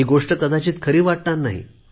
ही गोष्ट कदाचित खरी वाटणार नाही